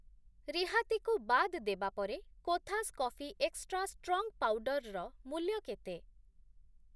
ରିହାତିକୁ ବାଦ୍ ଦେବା ପରେ Kothas coffee extra strong powder ର ମୂଲ୍ୟ କେତେ?